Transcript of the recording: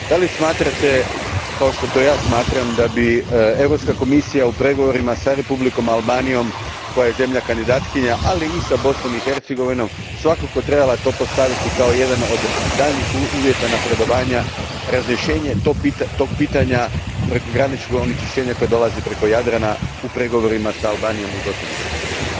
Smatrate li, kao što ja smatram, da bi Europska komisija u pregovorima sa Republikom Albanijom, koja je zemlja kandidatkinja, ali i sa Bosnom i Hercegovinom, svakako trebala to postaviti kao jedan od daljnjih uvjeta napredovanja, razrješenje tog pitanja prekograničnog onečišćenja koje dolazi preko Jadrana, u pregovorima s Albanijom i Bosnom i Hercegovinom?